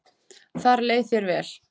Þar leið þér vel.